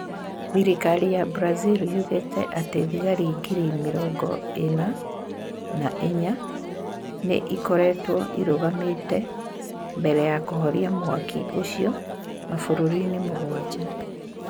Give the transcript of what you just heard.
Thirikari ya Brazil yugĩte atĩ thigari giri mĩrogo ĩna na inya nĩ ikoretwo irũgamĩte mbere ya kũhoria mwaki ũcio mabũrũri-inĩ mũgwanja.